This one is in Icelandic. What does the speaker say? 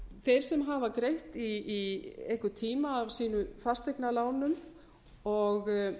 þeir sem hafa greitt í einhvern tíma af sínum fasteignalánum og